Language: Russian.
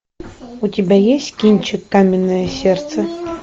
у тебя есть кинчик каменное сердце